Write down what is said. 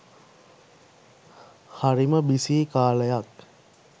හරිම බිසී කාලයක්